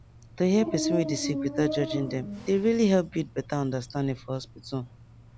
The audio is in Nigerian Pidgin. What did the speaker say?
to hear person wey dey sick without judging dem dey really help build beta understanding for hospital